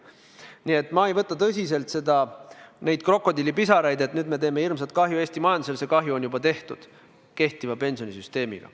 Nii et ma ei võta tõsiselt neid krokodillipisaraid, et nüüd me teeme hirmsat kahju Eesti majandusele – see kahju on juba tehtud kehtiva pensionisüsteemiga.